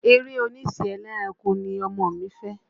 Eré oníṣe ẹlẹ́ranko ni ọmọ mi fẹ́.